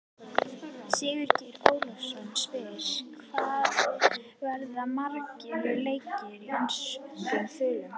Sigurgeir Ólafsson spyr: Hvað verða margir leikir með enskum þulum?